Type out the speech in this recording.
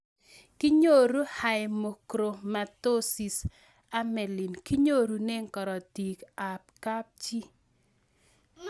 Kinyoru Haemochromatosis amelin kinyorune karatik ab kapchii